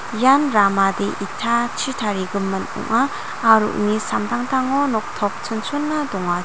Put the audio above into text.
ian ramade itachi tarigimin ong·a aro uni samtangtango noktop chonchona dongachi --